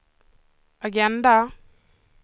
agenda